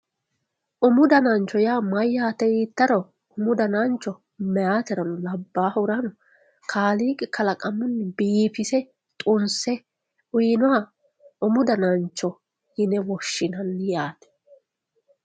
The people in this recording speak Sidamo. umu danancho yaa mayyate yiittaro umu danancho meyaaterano labbaahurano kaaliiqi kalaqamunni biifise xunse uyiinoha umu danancho yine woshshinanni yaate.